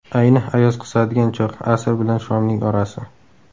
Ayni ayoz qisadigan choq – asr bilan shomning orasi.